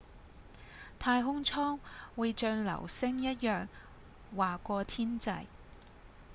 太空艙會像流星一樣劃過天際